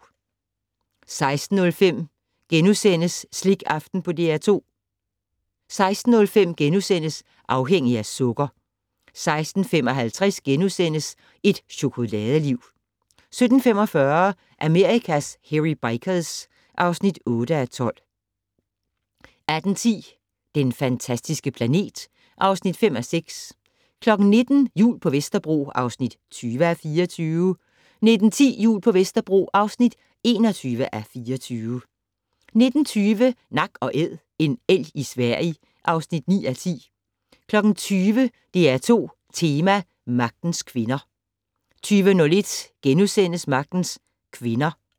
15:06: Slikaften på DR2 * 16:05: Afhængig af sukker * 16:55: Et chokoladeliv * 17:45: Amerikas Hairy Bikers (8:12) 18:10: Den fantastiske planet (5:6) 19:00: Jul på Vesterbro (20:24) 19:10: Jul på Vesterbro (21:24) 19:20: Nak & Æd - en elg i Sverige (9:10) 20:00: DR2 Tema: Magtens Kvinder 20:01: Magtens Kvinder *